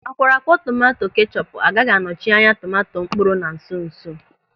Akwọrọakwọ tomanto kechọpu agaghị anọchị anya tomanto mkpụrụ na nso nso.